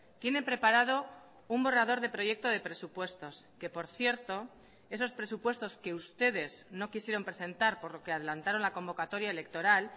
tiene preparado un borrador de proyecto de presupuestos que por cierto esos presupuestos que ustedes no quisieron presentar por lo que adelantaron la convocatoria electoral